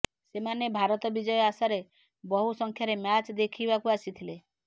ସେମାନେ ଭାରତ ବିଜୟ ଆଶାରେ ବହୁ ସଂଖ୍ୟାରେ ମ୍ୟାଚ୍ ଦେଖିବାକୁ ଆସିଥିଲେ